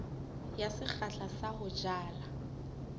ya sekgahla sa ho jala